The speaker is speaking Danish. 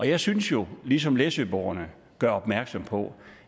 jeg synes jo ligesom læsøboerne gør opmærksom på